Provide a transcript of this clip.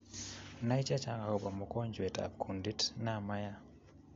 Nai chechang akobaa mongonjwent ab kundit naa mayaa